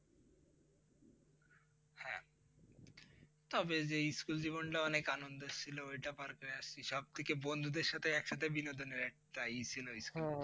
তবে যে ইস্কুল জীবনটা অনেক অনন্দের ছিল ওটা পার হয়ে আসছি সব থেকে বন্ধুদের সাথে একসাথে বিনোদনের একটা ইয়ে ছিল ইস্কুল